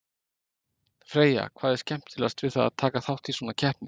Freyja, hvað er skemmtilegast við að taka þátt í svona keppni?